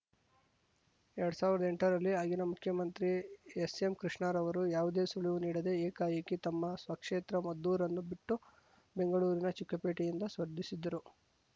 ಎರಡ್ ಸಾವಿರ್ದಾ ಎಂಟರಲ್ಲಿ ಆಗಿನ ಮುಖ್ಯಮಂತ್ರಿ ಎಸ್‌ಎಂಕೃಷ್ಣರವರು ಯಾವುದೇ ಸುಳಿವು ನೀಡದೇ ಏಕಾಏಕಿ ತಮ್ಮ ಸ್ವಕೇತ್ರ ಮದ್ದೂರನ್ನು ಬಿಟ್ಟು ಬೆಂಗಳೂರಿನ ಚಿಕ್ಕಪೇಟೆಯಿಂದ ಸ್ಪರ್ಧಿಸಿದ್ದರು